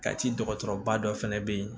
Ka ci dɔgɔtɔrɔba dɔ fɛnɛ be yen